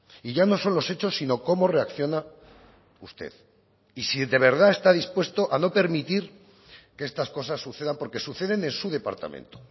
y ya no son los hechos sino cómo reacciona usted y si de verdad está dispuesto a no permitir que estas cosas sucedan porque suceden en su departamento